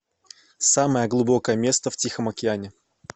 самое глубокое место в тихом океане